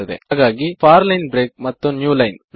ಹಾಗಾಗಿ for line break ಮತ್ತು new line